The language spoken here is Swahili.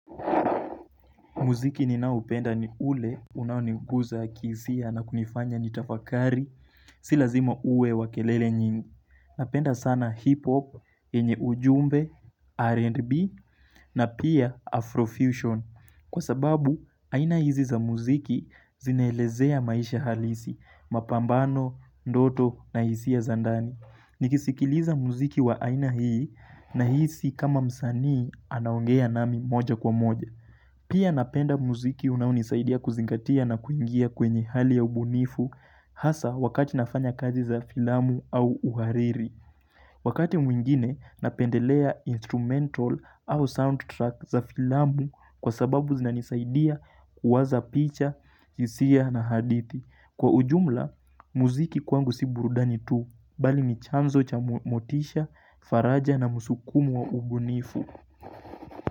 Muziki ninaoupenda ni ule unaoniguza kihisia na kunifanya nitafakari Si lazima uwe wakelele nyingi Napenda sana hip hop, enye ujumbe, R&B na pia Afrofusion Kwa sababu, aina hizi za muziki zinaelezea maisha halisi Mapambano, ndoto na hisia za ndani Nikisikiliza muziki wa aina hii na hizi kama msanii anaongea nami moja kwa moja Pia napenda muziki unaonisaidia kuzingatia na kuingia kwenye hali ya ubunifu hasa wakati nafanya kazi za filamu au uhariri. Wakati mwingine napendelea instrumental au soundtrack za filamu kwa sababu zinanisaidia kuwaza picha, hisia na hadithi. Kwa ujumla, muziki kwangu si burudani tu, bali nichanzo cha motisha, faraja na musukumu wa ubunifu.